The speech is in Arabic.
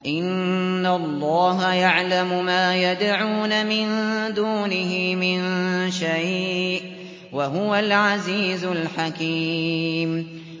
إِنَّ اللَّهَ يَعْلَمُ مَا يَدْعُونَ مِن دُونِهِ مِن شَيْءٍ ۚ وَهُوَ الْعَزِيزُ الْحَكِيمُ